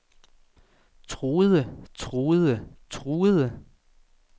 truede truede truede